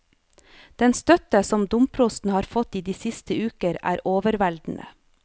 Den støtte som domprosten har fått i de siste uker, er overveldende.